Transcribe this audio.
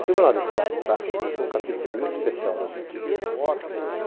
O Tribunal de Impostos e Taxas, esse é um capítulo muito especial na minha vida.